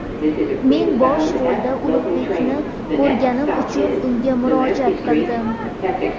Men bosh rolda Ulug‘bekni ko‘rganim uchun, unga murojaat qildim.